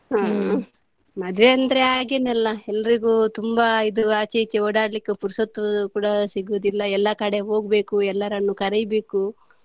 ಹ್ಮ್ ಮದುವೆ ಅಂದ್ರೆ ಹಾಗೇನೇ ಅಲ್ಲ ಎಲ್ರಿಗೂ ತುಂಬಾ ಇದು ಆಚೆ ಈಚೆ ಓಡಾಡ್ಲಿಕ್ಕೂ ಪುರ್ಸೊತ್ತು ಕೂಡ ಸಿಗುದಿಲ್ಲ ಎಲ್ಲ ಕಡೆ ಹೋಗ್ಬೇಕು ಎಲ್ಲರನ್ನು ಕರಿಬೇಕು.